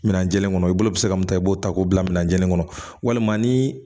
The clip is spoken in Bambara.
Minɛnjenn kɔnɔ i bolo bɛ se ka mun ta i b'o ta k'o bila minɛnjenin kɔnɔ walima ni